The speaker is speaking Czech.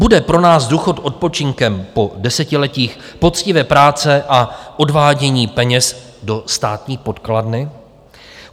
Bude pro nás důchod odpočinkem po desetiletích poctivé práce a odvádění peněz do státní pokladny?